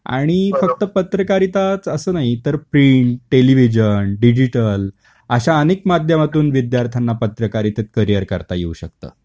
आणि फक्त पत्रकारिताच अस नाही तर प्रिंट, टेलिव्हिजन, डिजिटल अश्या अनेक माध्यमातून विद्यार्थ्यांना पत्रकारितेत करिअर करता येऊ शकतं.